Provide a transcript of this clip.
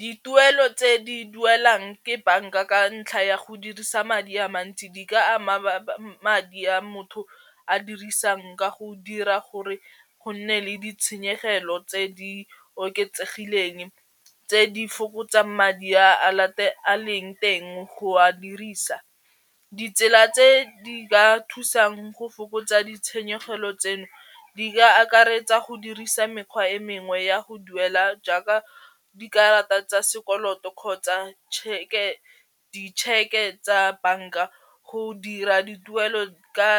Dituelo tse di duelang ke banka ka ntlha ya go dirisa madi a mantsi di ka ama madi a motho a dirisang ka go dira gore go nne le ditshenyegelo tse di oketsegileng tse di fokotsang madi a a leng teng go a dirisa. Ditsela tse di ka thusang go fokotsa ditshenyegelo tseno di ka akaretsa go dirisa mekgwa e mengwe ya go duela jaaka dikarata tsa sekoloto kgotsa ditšheke tsa banka go dira dituelo ka